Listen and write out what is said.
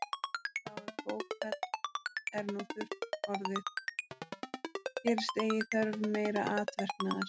Þá er bókfell er nú þurrt orðið, gerist eigi þörf meira atverknaðar.